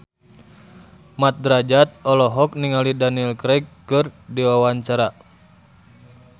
Mat Drajat olohok ningali Daniel Craig keur diwawancara